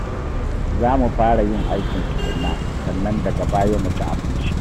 Za mu fara yin aikin tukunna, sannan daga baya mu ci abinci